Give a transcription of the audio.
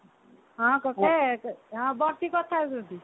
ହଁ କକା ହଁ ବସି କଥା ହଉଛନ୍ତି